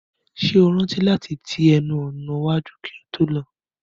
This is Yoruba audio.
Ṣé o rántí láti ti ẹnu ọ̀nà iwájú kí o tó lọ?